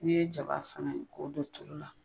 N'i ye jaba fɛngɛ k'o don tulu la.